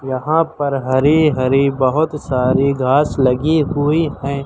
यहां पर हरे हरे बहुत सारी घास लगी हुई है।